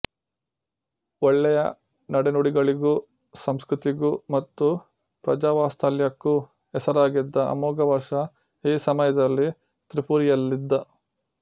ಒಳ್ಳೆಯ ನಡೆನುಡಿಗಳಿಗೂ ಸಂಸ್ಕೃತಿಗೂ ಮತ್ತು ಪ್ರಜಾವಾತ್ಸಲ್ಯಕ್ಕೂ ಹೆಸರಾಗಿದ್ದ ಅಮೋಘವರ್ಷ ಈ ಸಮಯದಲ್ಲಿ ತ್ರಿಪುರಿಯಲ್ಲಿದ್ದ